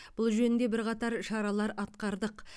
бұл жөнінде бірқатар шаралар атқардық